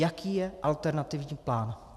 Jaký je alternativní plán?